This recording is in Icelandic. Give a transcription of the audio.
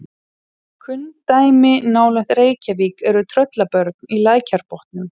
kunn dæmi nálægt reykjavík eru tröllabörn í lækjarbotnum